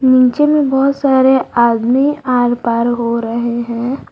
नीचे में बहोत सारे आदमी आर पार हो रहे हैं।